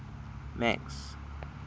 max